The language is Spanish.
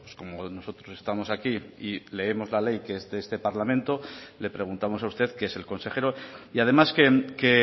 como nosotros estamos aquí y leemos la ley que es de este parlamento le preguntamos a usted que es el consejero y además que